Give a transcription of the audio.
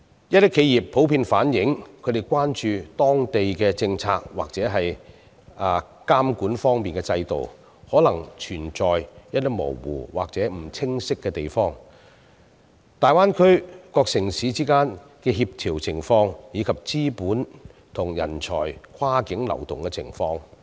一些企業普遍反映，他們關注當地的政策或監管制度，可能存在一些模糊或不清晰的地方，還有大灣區各城市之間的協調情況，以及資本和人才跨境流動的情況。